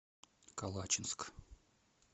калачинск